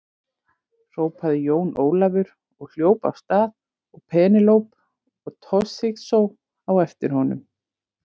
Hrópaði Jón Ólafur og hljóp af stað og Penélope og Toshizo á eftir honum.